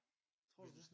Tror du det?